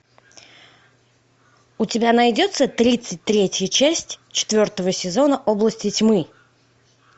у тебя найдется тридцать третья часть четвертого сезона области тьмы